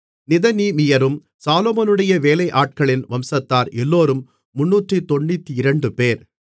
நிதனீமியரும் சாலொமோனுடைய வேலையாட்களின் வம்சத்தார் எல்லோரும் 392 பேர்